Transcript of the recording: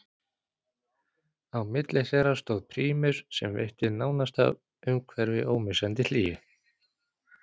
Á milli þeirra stóð prímus sem veitti nánasta umhverfi ómissandi hlýju.